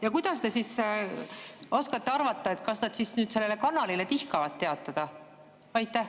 Ja kuidas te siis oskate arvata, et nad sellele kanalile tihkavad teatada?